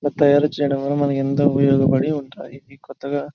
తయారు చేయడం వల్ల మనకు ఎందుకు ఉపయోగపడి ఉంటాయి కొత్తగా --